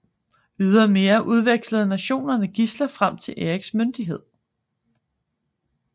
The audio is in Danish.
Ydermere udvekslede nationerne gidsler frem til Eriks myndighed